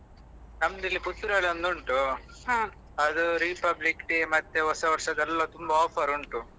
ನಮ್ದು ಇಲ್ಲಿ Puttur ಅಲ್ಲಿ ಒಂದು ಉಂಟು ಅದು Republic Day ಮತ್ತೆ ಹೊಸ ವರ್ಷದೆಲ್ಲಾ ತುಂಬಾ offer ಉಂಟು.